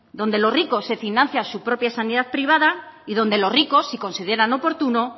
donde los ricos se financian su propia sanidad privada y donde los ricos si consideran oportuno